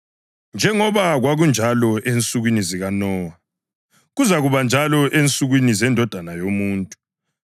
Njengoba kwakunjalo ensukwini zikaNowa, kuzakuba njalo ensukwini zeNdodana yoMuntu.